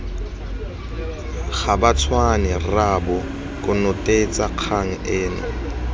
gabatshwane rraabo konotetsa kgang eno